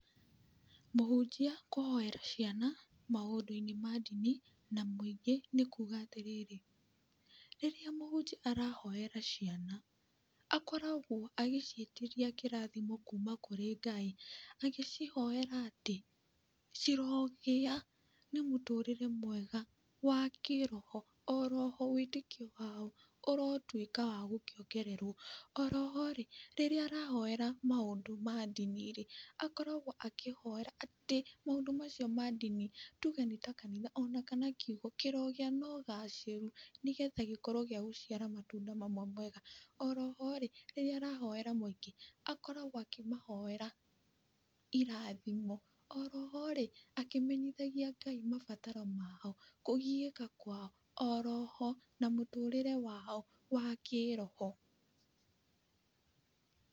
Mũhunjia kũhoera ciana maũndũ-inĩ ma ndini, na mũingĩ, nĩ kuga atĩrĩrĩ, rĩrĩa mũhunjia arahoera ciana, akoragwo agĩciĩtĩria kĩrathimo kuuma kũrĩ Ngai, agĩcihoera atĩ, cirogia na mũtũrĩre mwega, wa kĩroho, oroho wĩtĩkio wao, ũrotuĩka wa gũkĩongererwo, oroho rĩ, rĩrĩa arahoera maũndũ ma ndini rĩ, akoragwo akĩhoera atĩ maũndũ macio ma ndini, tuge nĩ takanitha onakana kiugo, kĩrogĩa na ũgacĩru, nĩ getha gĩkorwo gĩa gũciara matunda mamwe mega, oroho rĩ, rĩrĩa arahoera mũingĩ akoragwo akĩmahoera irathimũ, oroho rĩ, akĩmenyithagia Ngai mabataro mao, kũgiĩka kwao, oroho na mũtũrĩre wao wa kĩroho.